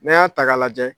N'a y'a ta k'a lajɛ